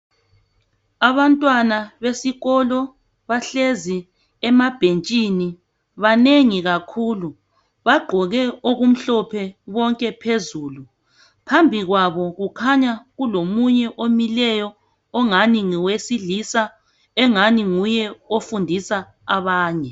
Abantwana besikolo bahlezi emabhentshini banengi kakhulu bagqoke okumhlophe bonke phezulu phambi kwabo kukhanya kulomunye omileyo ongani ngowe silisa ongani nguye ofundisa abanye